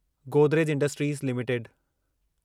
Godrej industries limited